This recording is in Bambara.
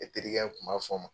E terikɛ tun b' fɔ ma.